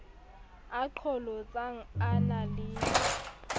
a qholotsang a na le